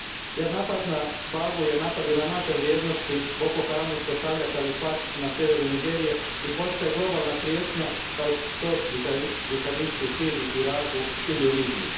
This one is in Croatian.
Jer napad na Bagu je napad i na naše vrijednosti, Boko Haram uspostavlja kalifat na sjeveru Nigerije i postaje globalna prijetnja kao što su to džihadisti u Siriji, Iraku ili u Libiji.